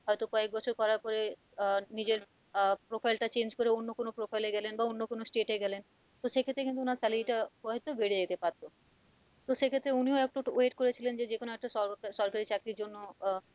হয়তো কয়েক বছর করার পরে আহ নিজের আহ profile টা change করে অন্য কোনও profile এ গেলেন বা অন্য কোন state এ গেলেন তো সেক্ষেত্রে হয়ত কিন্তু ওনার salary টা বেড়ে যেতে পারতো তো সেক্ষেত্রে উনিও একটু wait করেছিলন যে যেকোন একটা সর সরকারি চাকরির জন্য আহ এটাই